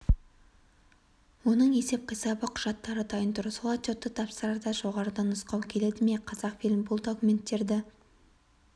оның есеп-қисабы құжаттары дайын тұр сол отчетты тапсырарда жоғарыдан нұсқау келді ме қазақфильм бұл документтерді